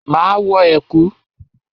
Máa wọ ẹ̀kú.